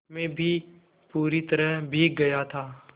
मैं भी पूरी तरह भीग गया था